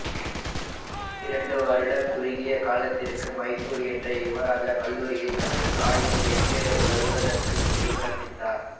இரண்டு வருட குறுகிய காலத்திற்கு மைசூர் இன்றைய யுவராஜா கல்லூரியில் தனது தாய் துறைக்கு வருவதற்கு முன்பு கற்பித்தார்